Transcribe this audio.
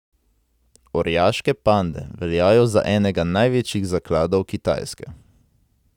Orjaške pande veljajo za enega največjih zakladov Kitajske.